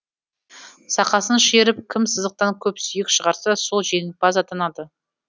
сақасын шиырып кім сызықтан көп сүйек шығарса сол жеңімпаз атанады